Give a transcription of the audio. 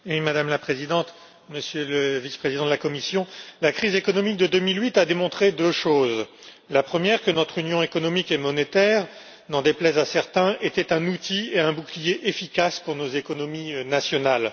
Madame la Présidente, Monsieur le Vice président de la Commission, la crise économique de 2008 a démontré deux choses la première, que notre union économique et monétaire, n'en déplaise à certains, était un outil et un bouclier efficaces pour nos économies nationales